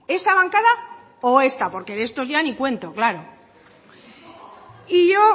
esa bancada o esta porque de estos ya ni cuento claro y yo